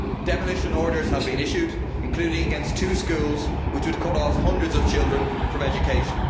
Demolition orders have been issued, including against two schools, which would cut off hundreds of children from education.